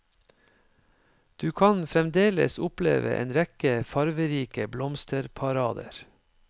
Du kan fremdeles oppleve en rekke farverike blomsterparader.